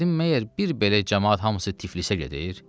Dedim məgər bir belə camaat hamısı Tiflisə gedir?